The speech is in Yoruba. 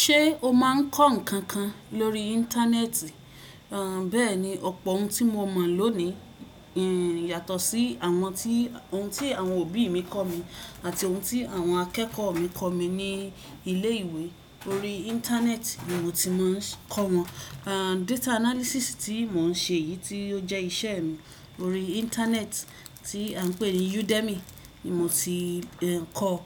Ṣé o máa ń kọ́ nǹkan kan lórí Íńtánẹ́ẹ̀tì? Béèni, ọ̀pọ̀ ohun tí mo mọ̀ lónìí yàtọ̀ sí àwọn ohun tí àwọn òbí mi kọ mí àti ohun tí àwọn akẹ́kọ̀ọ́ mi kọ̀ mí ní ilé ìwé. Lórí Íńtánẹ́ẹ̀tì ni mo ti máa ń kọ wọn. Data analysis tí mò ń ṣe yìí tí ó jẹ́ iṣẹ́ mi, lórí Íńtánẹ́ẹ̀tì tí a ń pè ní Udemy ni mo ti ń kọ́ ọ.